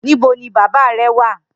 Nibó ni bàbá rè wà?